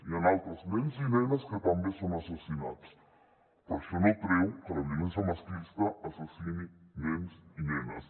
hi han altres nens i nenes que també són assassinats però això no treu que la violència masclista assassini nens i nenes